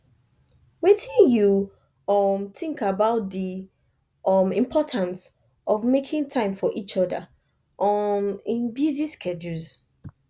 wetin you um think about di um importance of making time for each oda um in busy schedules